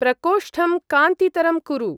प्रकोष्ठं कान्तितरं कुरु।